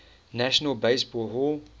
national baseball hall